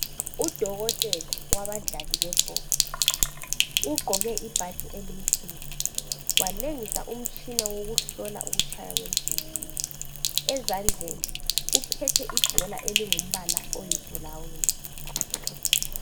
Udokotela wabadlali bebhola ugqoke ibhatshi elimhlophe walengisa umtshina wokuhlola ukutshaya kwenhliziyo ezandleni uphethe ibhola elingumbala oyi brown